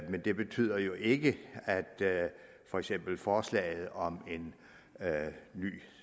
men det betyder jo ikke at for eksempel forslaget om en ny